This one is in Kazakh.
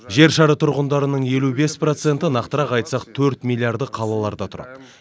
жер шары тұрғындарының елу бес проценті нақтырақ айтсақ төрт миллиарды қалаларда тұрады